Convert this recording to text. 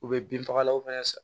U bɛ bin fagalaw fɛnɛ san